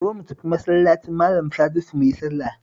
Zo mu tafi Masallacin Malan Sadisu mu yi sallah